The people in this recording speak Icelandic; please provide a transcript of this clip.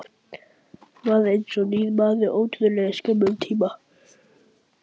Varð eins og nýr maður á ótrúlega skömmum tíma.